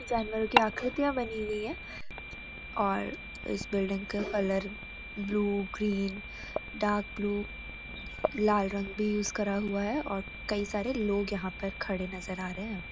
कुछ जानवरों की आकृतियां बनी हुई है और इस बिल्डिंग के colour blue green dark blue लाल रंग भी यूज करा हुआ है और कई सारे लोग यहाँ पर खड़े नजर आ रहे हैं हमें।